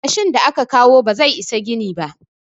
yashin da aka kawo ba zai Isa gini ba